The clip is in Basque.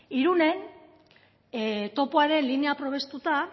irunen topoaren linea probestuta